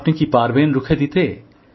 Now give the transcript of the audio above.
আপনি কি পারবেন রুখে দিতে